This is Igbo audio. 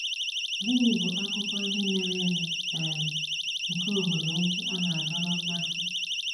Gịnị bụ akụkọ ihe mere eme um nke obodo ukwu a na - adọrọ mmasị?